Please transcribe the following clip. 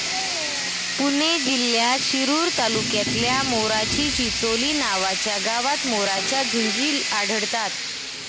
पुणे जिल्ह्यात शिरूर तालुक्यातल्या 'मोराची चिंचोली' नावाच्या गावात मोरांच्या झुंडी आढळतात.